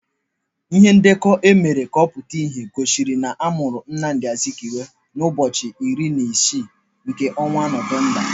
Ihe ndekọ emere ka ọ pụta ìhè gosiri na amụrụ Nnamdi Azikiwe ụbọchị iri na isii nke ọnwa Nọvemba.